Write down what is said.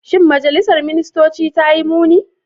Shin majalisar ministoci ta yi muni?